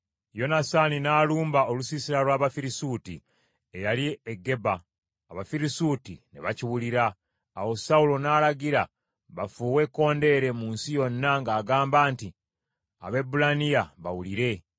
Yonasaani n’alumba olusiisira lw’Abafirisuuti eyali e Geba, Abafirisuuti ne bakiwulira. Awo Sawulo n’alagira, bafuuwe ekkondeere mu nsi yonna, ng’agamba nti, “Abaebbulaniya bawulire!”